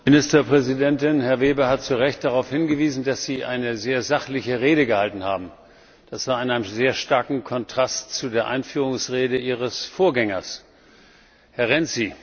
Herr Präsident! Frau Ministerpräsidentin! Herr Weber hat zu Recht darauf hingewiesen, dass Sie eine sehr sachliche Rede gehalten haben. Das war in einem sehr starken Kontrast zu der Einführungsrede Ihres Vorgängers, Herrn Renzi.